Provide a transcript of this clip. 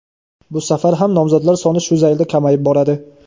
bu safar ham nomzodlar soni shu zaylda kamayib boradi.